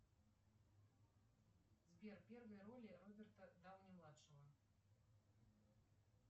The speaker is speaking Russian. сбер первые роли роберта дауни младшего